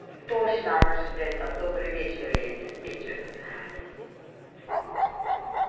точно она собирает там добрый вечер я диспетчер